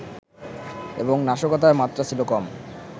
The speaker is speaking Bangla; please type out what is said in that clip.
এবং নাশকতার মাত্রা ছিল কম